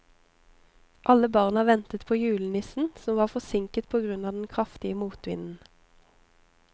Alle barna ventet på julenissen, som var forsinket på grunn av den kraftige motvinden.